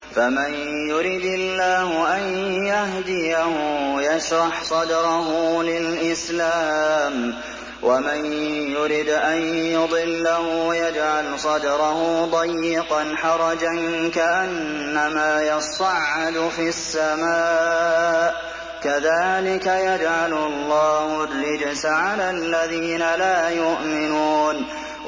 فَمَن يُرِدِ اللَّهُ أَن يَهْدِيَهُ يَشْرَحْ صَدْرَهُ لِلْإِسْلَامِ ۖ وَمَن يُرِدْ أَن يُضِلَّهُ يَجْعَلْ صَدْرَهُ ضَيِّقًا حَرَجًا كَأَنَّمَا يَصَّعَّدُ فِي السَّمَاءِ ۚ كَذَٰلِكَ يَجْعَلُ اللَّهُ الرِّجْسَ عَلَى الَّذِينَ لَا يُؤْمِنُونَ